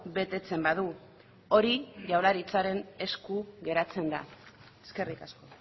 betetzen badu hori jaurlaritzaren esku geratzen da eskerrik asko